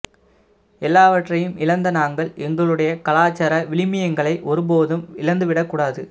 எல்லாவற்றையும் இழந்த நாங்கள் எங்களுடைய கலாச்சார விழுமியங்களை ஒரு போதும் இழந்து விடக்கூடாது